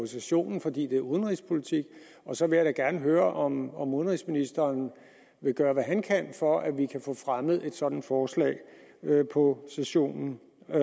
sessionen fordi det er udenrigspolitik og så vil jeg da gerne høre om udenrigsministeren vil gøre hvad han kan for at vi kan få fremmet et sådant forslag på sessionen